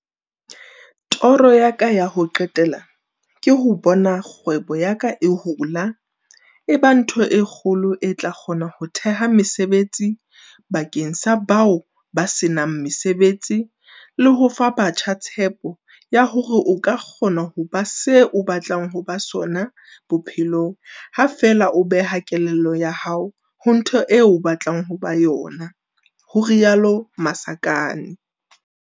Toro ya ka ya ho qetela ke ho bona kgwebo ya ka e hola e ba ntho e kgolo e tla kgona ho theha mesebetsi bakeng sa bao ba se nang mesebetsi le ho fa batjha tshepo ya hore o ka kgona ho ba se o batlang ho ba sona bophelong ha feela o beha kelello ya hao ho ntho eo batlang ho ba yona, ho rialo Masakane.